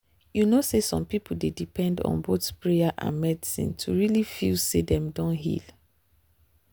you know say some people dey depend on both prayer and medicine to really feel say dem don heal.